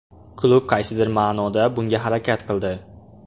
Klub qaysidir ma’noda bunga harakat qildi.